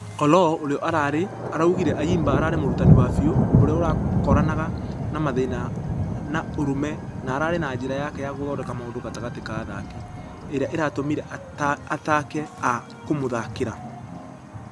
Oloo ũrĩa ararĩ .....araugire ayimba ararĩ mũrutani wa biu ũrĩa ũrakoranaga na mathĩna na ũrũme na ararĩ na njĩra yake ya gũthondeka maũndũ gatagatĩ wa athaki. Ĩrĩa ĩratũmĩre ataki a.....kũmũthakĩra.